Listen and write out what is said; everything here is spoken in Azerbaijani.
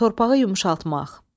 Torpağı yumşaltmaq.